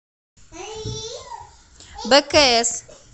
бкс